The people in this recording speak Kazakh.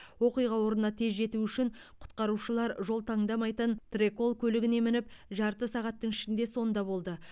оқиға орнына тез жету үшін құтқарушылар жол таңдамайтын трэкол көлігіне мініп жарты сағаттың ішінде сонда болды